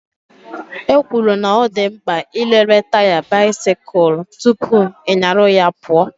E kwuru na ọ dị mkpa ị lere taya bisikul tụpụ ị nyaru ya pụọ